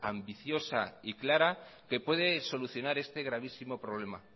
ambiciosa y clara que puede solucionar este gravísimo problema